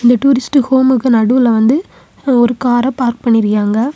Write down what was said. இந்த டூரிஸ்ட் ஹோம்கு நடுவுல வந்து ஒரு கார பார்க் பண்ணிருக்கியாங்க.